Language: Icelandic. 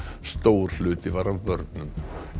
stór hluti var af börnum